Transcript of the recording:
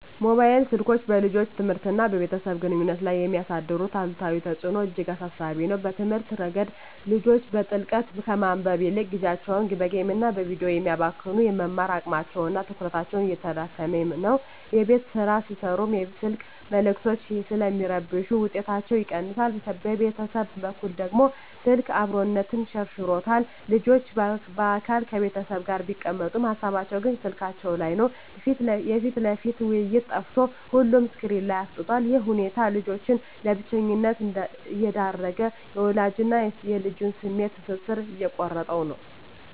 ሞባይል ስልኮች በልጆች ትምህርትና በቤተሰብ ግንኙነት ላይ የሚያሳድሩት አሉታዊ ተጽዕኖ እጅግ አሳሳቢ ነው። በትምህርት ረገድ፣ ልጆች በጥልቀት ከማንበብ ይልቅ ጊዜያቸውን በጌምና በቪዲዮ ስለሚያባክኑ፣ የመማር አቅማቸውና ትኩረታቸው እየተዳከመ ነው። የቤት ሥራ ሲሠሩም የስልክ መልዕክቶች ስለሚረብሹ ውጤታቸው ይቀንሳል። በቤተሰብ በኩል ደግሞ፣ ስልክ "አብሮነትን" ሸርሽሮታል። ልጆች በአካል ከቤተሰብ ጋር ቢቀመጡም፣ ሃሳባቸው ግን ስልካቸው ላይ ነው። የፊት ለፊት ውይይት ጠፍቶ ሁሉም ስክሪን ላይ አፍጥጧል። ይህ ሁኔታ ልጆችን ለብቸኝነት እየዳረገ፣ የወላጅና ልጅን የስሜት ትስስር እየቆረጠው ነው።